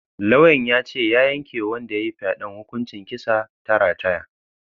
Lauyan yace ya yanke wa wanda yayi faɗen hukumar kisa ta rataya